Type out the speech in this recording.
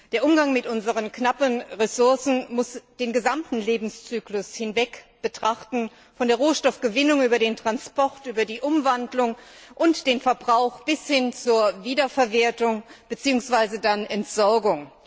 Der Umgang mit unseren knappen Ressourcen muss den gesamten Lebenszyklus hinweg betrachten, von der Rohstoffgewinnung über den Transport, über die Umwandlung und den Verbrauch bis hin zur Wiederverwertung beziehungsweise dann Entsorgung.